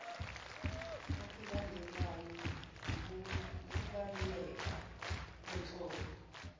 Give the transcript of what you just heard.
okulandelwayo wukubaluleka kwenhlobo